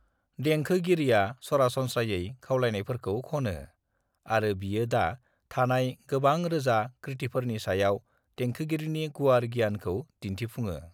"देंखोगिरिया सरासनस्रायै खावलायनायफोरखौ ख'नो, आरो बियो दा थानाय गोबां रोजा कृतिफोरनि सायाव देंखोगिरिनि गुवार गियानखौ दिनथिफुङो।"